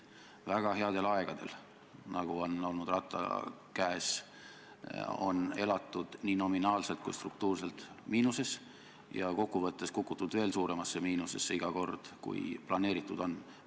Väga headel aegadel, nagu on olnud Ratta valitsuste ajal, on elatud nii nominaalselt kui ka struktuurselt miinuses ja kokkuvõttes on iga kord kukutud veel suuremasse miinusesse, kui planeeritud oli.